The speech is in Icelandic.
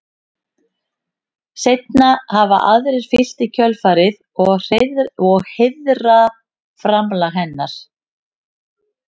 Seinna hafa aðrir fylgt í kjölfarið og heiðrað framlag hennar.